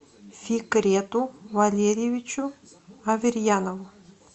фикрету валерьевичу аверьянову